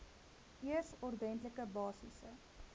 eers ordentlike basiese